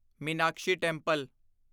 Meenakshi temple